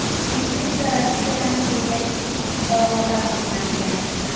Infeksiya Rossiyadan kelgan ikki fuqaroda aniqlangan.